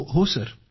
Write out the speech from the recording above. जी ।